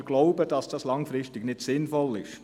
– Wir glauben, dass das langfristig nicht sinnvoll ist.